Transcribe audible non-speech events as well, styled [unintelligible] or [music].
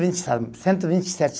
[unintelligible] Cento e vinte e sete.